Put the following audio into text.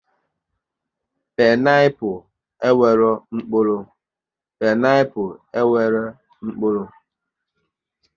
Pineaple e nwere mkpụrụ